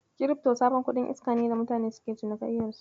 Kirifto sabon kuɗin iska ne da mutane suke cinikayyar su.